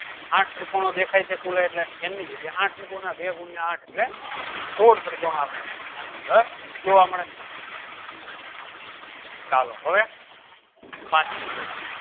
આઠ ત્રિકોણો દેખાય છે કુલ એટલે n ની જગ્યાએ આઠ મુકવાનાબે ગુયા આઠ એટલે સોળ ત્રિકોણો આપણને આની અંદર જોવા મળે ચાલો હવે પાચમી pattern